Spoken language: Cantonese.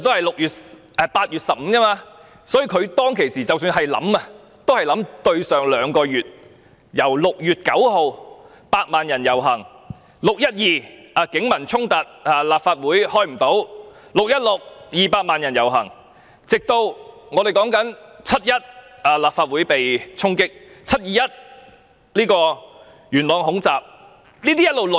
措施在8月15日發布，在之前的兩個月 ：6 月9日，百萬人遊行 ；6 月12日，警民衝突，立法會未能開會 ；6 月16日 ，200 萬人遊行 ；7 月1日，立法會被衝擊 ；7 月21日，元朗恐襲。